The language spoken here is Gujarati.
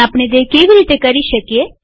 પણ આપણે તે કેવી રીતે કરી શકીએ